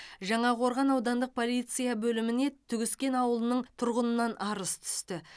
жаңақорған аудандық полиция бөліміне түгіскен ауылының тұрғынынан арыз түсті